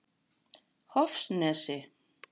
Hofsnesi